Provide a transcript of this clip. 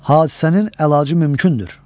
Hadisənin əlacı mümkündür.